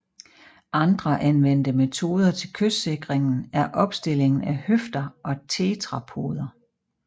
Andre anvendte metoder til kystsikringen er opstillingen af høfder og tetrapoder